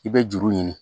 I bɛ juru ɲini